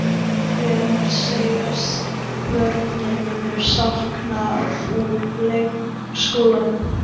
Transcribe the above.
Hvers segjast börnin munu sakna úr leikskólanum?